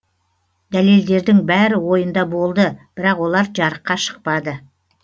дәлелдердің бәрі ойында болды бірақ олар жарыққа шықпады